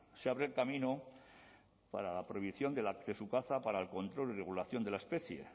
se abre el camino para la prohibición de su caza para el control y regulación de la especie